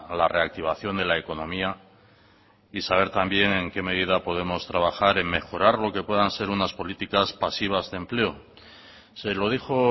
la reactivación de la economía y saber también en qué medida podemos trabajar en mejorar lo que puedan ser unas políticas pasivas de empleo se lo dijo